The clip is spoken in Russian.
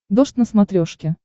дождь на смотрешке